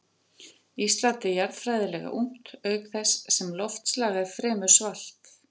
Ísland er jarðfræðilega ungt auk þess sem loftslag er fremur svalt.